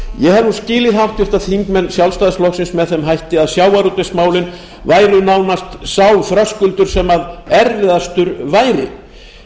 nú skilið háttvirtir þingmenn sjálfstæðisflokksins með þeim hætti að sjávarútvegsmálin væru nánast sá þröskuldur sem erfiðastur væri